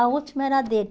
A última era dele.